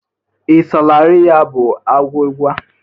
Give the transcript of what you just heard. Ị salarị ya bụ agwụgwa?